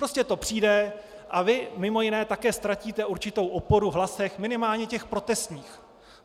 Prostě to přijde a vy mimo jiné také ztratíte určitou oporu v hlasech, minimálně těch protestních.